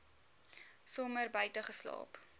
somer buite geslaap